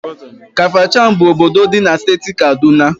Kafachan bụ obodo dị na Steeti Kaduna.